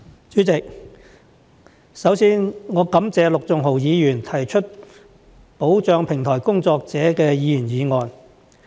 主席，首先，我感謝陸頌雄議員提出保障平台工作者的議員議案。